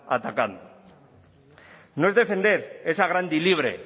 atacando no es defender esa grande y libre